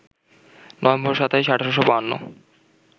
November ২৭, ১৮৫২